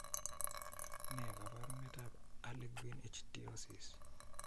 Ne kaabarunetap harlequin ichthyosis?